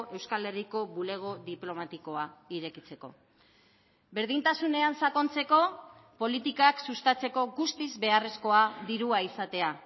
euskal herriko bulego diplomatikoa irekitzeko berdintasunean sakontzeko politikak sustatzeko guztiz beharrezkoa dirua izatea